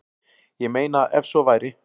Ég meina ef svo færi.